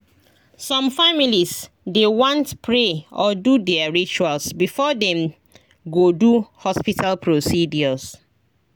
some families dey want pray or do their rituals before dem go do hospital procedures